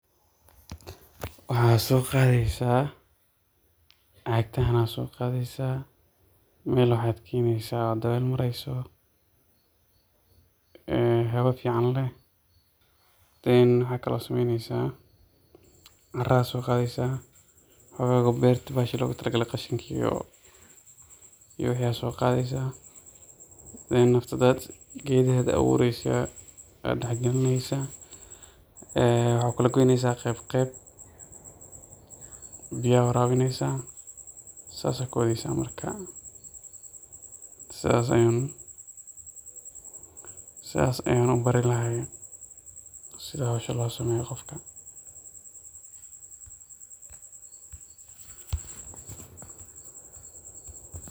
Waxad soo qadeysa, cagtahan ad soo qadeysa, mel waxad keeneysa oo dabel mareyso, en hawa fican leh then waxa kale od sameeyneysa, cara aa soo qadeysa woxogaago meshi beerta meshi logu talagale qashinki iyo iyo wixi ad soo qadeysa then after that gedihi ad dhex gelineysa ee waxa ukala goyneysa qeb qeb, biya warraabineysa sas aa kuwadeysa marka, sas ayan baari lahay sida howsha loo sameeyo qofkan